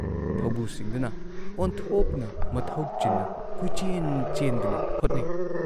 ꯊꯧꯕꯨꯁꯤꯡꯗꯨꯅ ꯑꯣꯟꯊꯣꯛꯅ ꯃꯊꯧ ꯆꯤꯟꯅ ꯀꯣꯏꯆꯦꯟ ꯆꯦꯟꯗꯨꯅ ꯍꯣꯠꯅꯩ ꯫